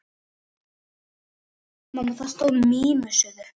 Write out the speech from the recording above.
Ég stóðst bara ekki mátið.